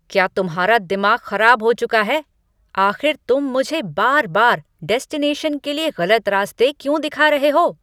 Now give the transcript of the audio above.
क्या तुम्हारा दिमाग खराब हो चुका है? आख़िर तुम मुझे बार बार डेस्टिनेशन के लिए गलत रास्ते क्यों दिखा रहे हो?